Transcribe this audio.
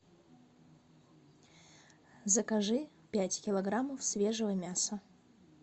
закажи пять килограммов свежего мяса